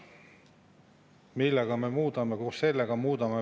Perekonnaseadus, mida me hakkame muutma – ma ei ole välja lugenud, mis probleeme me sellega lahendame.